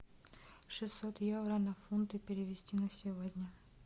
шестьсот евро на фунты перевести на сегодня